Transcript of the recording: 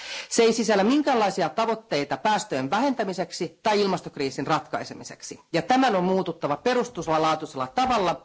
Se ei sisällä minkäänlaisia tavoitteita päästöjen vähentämiseksi tai ilmastokriisin ratkaisemiseksi, ja tämän on muututtava perustavan laatuisella tavalla.